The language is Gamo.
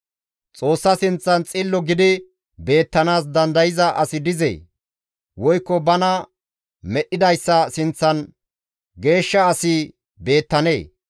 ‹Xoossa sinththan xillo gidi beettanaas dandayza asi dizee? woykko bana medhdhidayssa sinththan geeshsha asi beettanee?